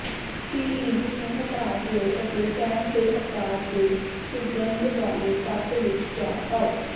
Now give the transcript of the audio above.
ਸਿਈਵੀ ਨੂੰ ਹਟਾ ਦਿਓ ਅਤੇ ਟੈਂਮ ਦੇ ਆਕਾਰ ਦੇ ਸੁਗੰਧ ਵਾਲੇ ਕੱਪ ਵਿੱਚ ਚਾਹ ਪਾਓ